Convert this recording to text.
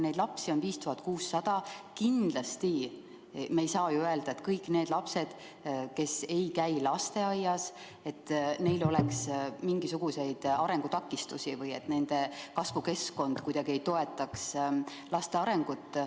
Neid lapsi on 5600, aga kindlasti ei saa ju öelda, et kõigil lastel, kes ei käi lasteaias, on mingisuguseid arengutakistusi või et nende kasvukeskkond kuidagi ei toeta arengut.